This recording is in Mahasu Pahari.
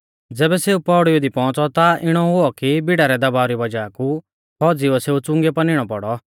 ज़ैबै सेऊ पैड़ीऊ दी पौउंच़ौ ता इणौ हुऔ कि भीड़ा रै दबाव री वज़ाह कु फौज़ीउऐ सेऊ च़ुंगीयौ पा निणौ पौड़ौ